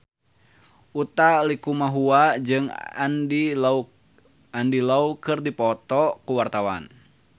Utha Likumahua jeung Andy Lau keur dipoto ku wartawan